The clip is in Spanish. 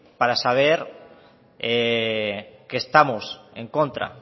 para saber que estamos en contra